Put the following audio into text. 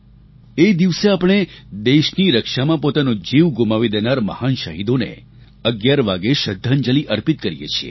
એ દિવસે આપણે દેશની રક્ષામાં પોતાનો જીવ ગુમાવી દેનારા મહાન શહીદોને 11 વાગ્યે શ્રદ્ધાંજલિ અર્પિત કરીએ છીએ